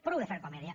prou de fer comèdia